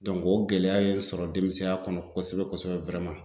o gɛlɛya ye n sɔrɔ denmisɛnya kɔnɔ kosɛbɛ kosɛbɛ